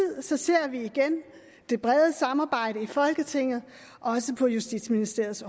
ser vi igen det brede samarbejde i folketinget også på justitsministeriets